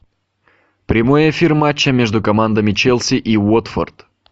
прямой эфир матча между командами челси и уотфорд